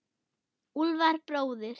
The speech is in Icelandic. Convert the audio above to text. Úlfar bróðir.